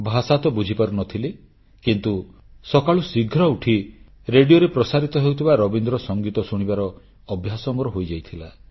ଭାଷା ତ ବୁଝିପାରୁନଥିଲି କିନ୍ତୁ ସକାଳୁ ଶୀଘ୍ର ଉଠି ରେଡ଼ିଓରେ ପ୍ରସାରିତ ହେଉଥିବା ରବୀନ୍ଦ୍ର ସଂଗୀତ ଶୁଣିବାର ଅଭ୍ୟାସ ମୋର ହୋଇଯାଇଥିଲା